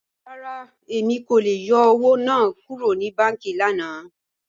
Rárá, Emi kò lè yọ́ owo naa kúrò ni bànkí lànà.